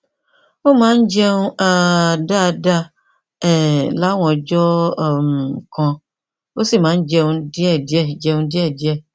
ó máa ń jẹun um dáadáa um láwọn ọjọ um kan ó sì máa ń jẹun díẹdíẹ jẹun díẹdíẹ